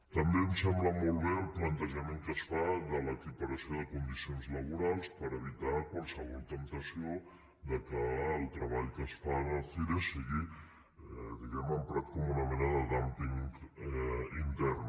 també em sembla molt bé el plantejament que es fa de l’equiparació de condicions laborals per evitar qualsevol temptació que el treball que es fa en el cire sigui diguem ne emprat com una mena de dúmping intern